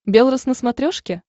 белрос на смотрешке